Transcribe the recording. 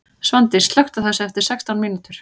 Svandís, slökktu á þessu eftir sextán mínútur.